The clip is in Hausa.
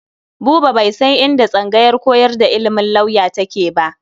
Buba bai san inda tsangayar koyar da ilimin lauya take ba.